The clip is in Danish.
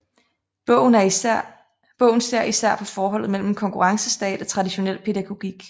Bogen ser især på forholdet mellem konkurrencestat og traditionel pædagogik